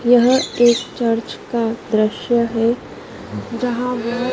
यह एक चर्च का दृश्य है जहाँ बहो--